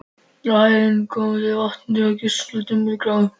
Á háheiðinni komu þeir að vatni, kaldranalegu og dimmgráu.